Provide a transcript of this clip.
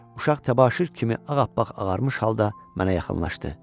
Uşaq təbaşir kimi ağappaq ağarmış halda mənə yaxınlaşdı.